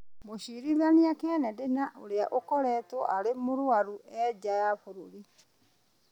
Mũcirithania Kennedy na ũrĩa ũkoretwo arĩ mũrwaru, e njaa wa bũrũri.